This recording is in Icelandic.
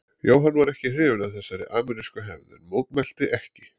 Jóhann var ekki hrifinn af þessari amerísku hefð en mótmælti ekki.